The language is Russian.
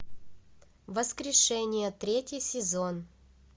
воскрешение третий сезон